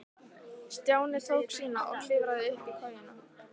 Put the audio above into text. Stjáni tók sína og klifraði aftur upp í kojuna.